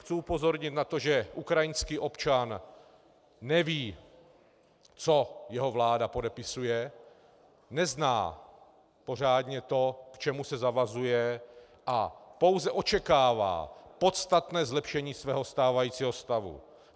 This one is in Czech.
Chci upozornit na to, že ukrajinský občan neví, co jeho vláda podepisuje, nezná pořádně to, k čemu se zavazuje, a pouze očekává podstatné zlepšení svého stávajícího stavu.